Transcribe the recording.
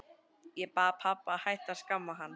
Ég bað pabba að hætta að skamma hann.